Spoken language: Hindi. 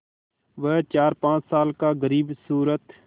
वह चारपाँच साल का ग़रीबसूरत